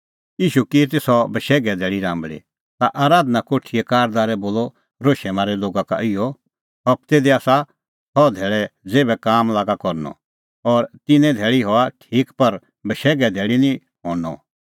ईशू की ती सह बशैघे धैल़ी राम्बल़ी ता आराधना कोठीए कारदारै बोलअ रोशै मारै लोगा का इहअ हबतै दी आसा छ़ह धैल़ै ज़ेथ काम लागा करनअ और तिन्नां ई धैल़ी हआ ठीक पर बशैघे धैल़ी निं हणअ